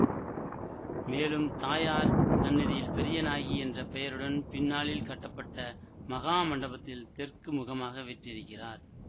மேலும் தாயார் சந்நிதியில் பெரியநாயகி என்ற பெயருடன் பின்னாளில் கட்டப்பட்ட மகாமண்டபத்தில் தெற்கு முகமாக வீற்றிருக்கிறார்